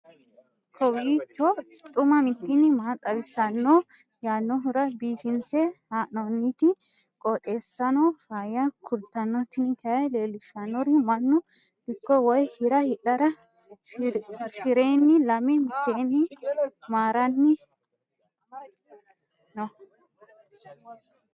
kowiicho xuma mtini maa xawissanno yaannohura biifinse haa'noonniti qooxeessano faayya kultanno tini kayi leellishshannori mannu dikko woy hira hidhara fiirenni lame mitteenni maranni no